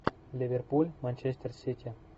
ливерпуль манчестер сити